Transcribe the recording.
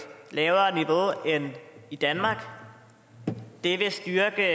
lavere niveau end i danmark det vil styrke